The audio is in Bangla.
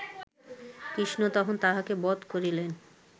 কৃষ্ণ তখন তাহাকে বধ করিলেন